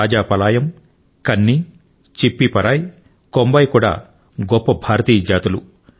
రాజాపలాయమ్ కన్నీ చిప్పీపరాయి కొంబాయి లు కూడా గొప్ప భారతీయ జాతులు